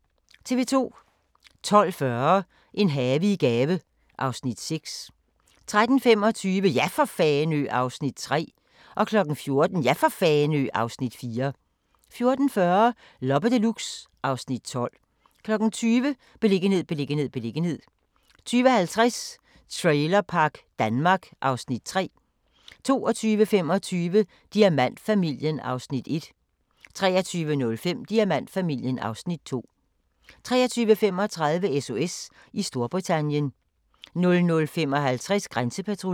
12:40: En have i gave (Afs. 6) 13:25: Ja for Fanø! (Afs. 3) 14:00: Ja for Fanø! (Afs. 4) 14:40: Loppe Deluxe (Afs. 12) 20:00: Beliggenhed, beliggenhed, beliggenhed 20:50: Trailerpark Danmark (Afs. 3) 22:25: Diamantfamilien (Afs. 1) 23:05: Diamantfamilien (Afs. 2) 23:35: SOS i Storbritannien 00:55: Grænsepatruljen